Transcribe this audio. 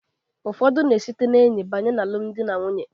Ụfọdụ na-esite n'enyi banye n'alụm dị na nwunye.